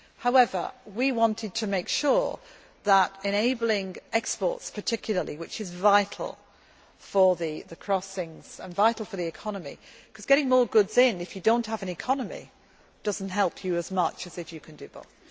that. However, we wanted to make sure that we enabled exports in particular, which is vital for the crossings and vital for the economy, because getting more goods in if you do not have an economy does not help you as much as if you can do